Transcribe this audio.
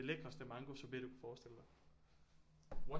Lækreste mangosorbet du kan forestille dig